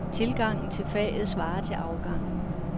Tilgangen til faget svarer til afgangen.